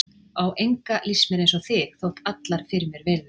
Á enga líst mér eins og þig, þótt allar fyrir mér virði.